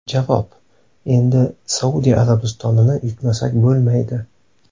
Javob: Endi Saudiya Arabistonini yutmasak bo‘lmaydi.